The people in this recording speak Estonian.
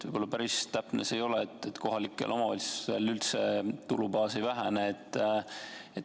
Võib-olla päris täpne see ei ole, et kohalikel omavalitsustel tulubaas üldse ei vähene.